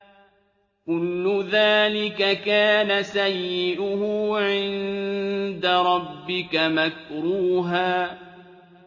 كُلُّ ذَٰلِكَ كَانَ سَيِّئُهُ عِندَ رَبِّكَ مَكْرُوهًا